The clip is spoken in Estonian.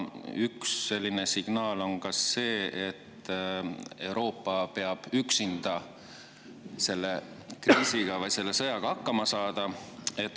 Üks selline signaal on ka see, et Euroopa peab üksinda selle kriisi või selle sõjaga hakkama saama.